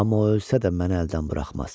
Amma o ölsə də məni əldən buraxmaz.